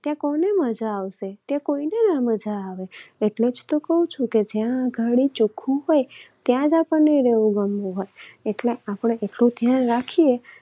ત્યાં કોને મજા આવશે? ત્યાં કોઈને ના મજા આવે. એટલે જ તો કહું છું કે જ્યાં આગળ ચોખ્ખું હોય ત્યાં જ આપણને રહેવું ગમતું હોય આપણે એટલું ધ્યાન રાખીએ.